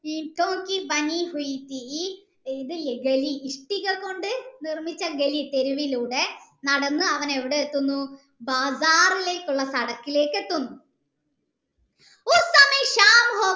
ഇതില്ലേ ഇഷ്ടിക കൊണ്ട് നിർമ്മിച്ച തെരുവിലൂടെ നടന്നു അവൻ എവിടെ എത്തുന്നു ബാഗാറിലേക്കുള്ള എത്തുന്നു